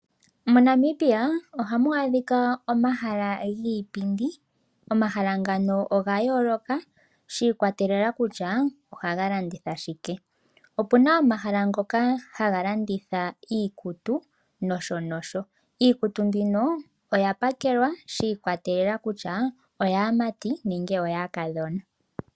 MoNamibia ohamu adhika omahala giipindi. Omahala ngano ogayooloka shi ikwatelela kutya ohaga landitha shike. Opuna omahala ngoka haga landitha iikutu nosho nosho. Iikutu mbino oya pakelwa shi ikwatelela kutya oyaamati nenge oyaakadhona.